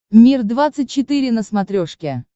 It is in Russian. мир двадцать четыре на смотрешке